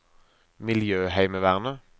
miljøheimevernet